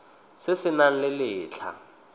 se se nang le letlha